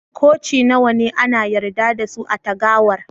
Koci nawa ne ana yarda da su a'tagawar?